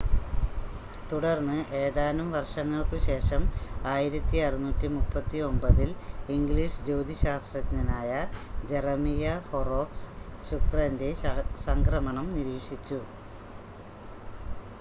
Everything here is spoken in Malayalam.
തുടർന്ന് ഏതാനും വർഷങ്ങൾക്കുശേഷം 1639-ൽ ഇംഗ്ലീഷ് ജ്യോതിശാസ്ത്രജ്ഞനായ ജെറമിയ ഹൊറോക്സ് ശുക്രൻ്റെ സംക്രമണം നിരീക്ഷിച്ചു